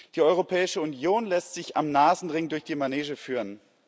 Die Europäische Union lässt sich am Nasenring durch die Manege führen.